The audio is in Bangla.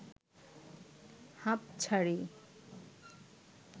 হাপঁ ছাড়ি